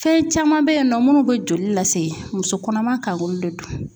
Fɛn caman be yen nɔ munnu be joli lase ,muso kɔnɔma kan k'olu de dun.